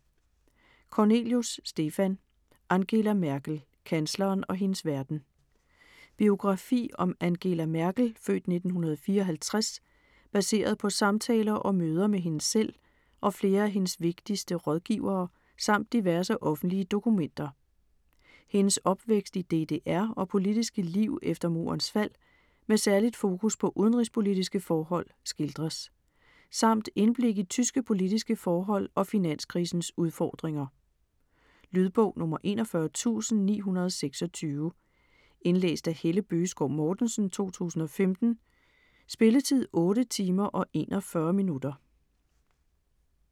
Kornelius, Stefan: Angela Merkel: kansleren og hendes verden Biografi om Angela Merkel (f. 1954), baseret på samtaler og møder med hende selv og flere af hendes vigtigste rådgivere samt diverse offentlige dokumenter. Hendes opvækst i DDR og politiske liv efter Murens fald med særligt fokus på udenrigspolitiske forhold skildres. Samt indblik i tyske politiske forhold og finanskrisens udfordringer. Lydbog 41926 Indlæst af Helle Bøgeskov Mortensen, 2015. Spilletid: 8 timer, 41 minutter.